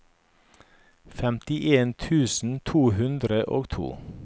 femtien tusen to hundre og to